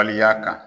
Waleya kan